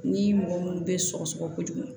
Ni mɔgɔ minnu bɛ sɔgɔsɔgɔ kojugu